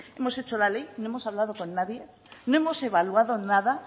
hemos hecho la ley no hemos hablado con nadie no hemos evaluado nada